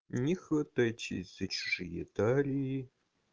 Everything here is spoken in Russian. не хватайтесь за чужие талии